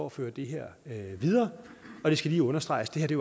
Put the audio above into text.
at flytte det her videre det skal lige understreges at det